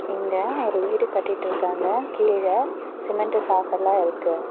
இங்க ஒரு வீடு கட்டிட்ருக்காங்க கீழ சிமெண்ட்டு சாக்கெல்லா இருக்கு.